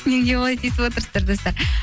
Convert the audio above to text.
неге олай тиісіп отырсыздар достар